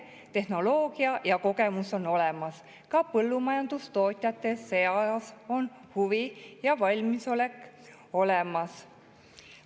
Tehnoloogia ja kogemus on olemas, ka põllumajandustootjate seas on huvi ja valmisolek olemas.